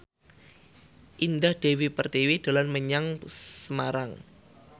Indah Dewi Pertiwi dolan menyang Semarang